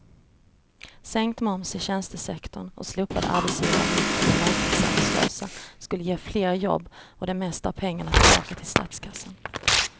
Sänkt moms i tjänstesektorn och slopade arbetsgivaravgifter för långtidsarbetslösa skulle ge fler jobb och det mesta av pengarna tillbaka till statskassan.